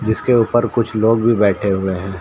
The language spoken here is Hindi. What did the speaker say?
जिसके ऊपर कुछ लोग भी बैठे हुए हैं।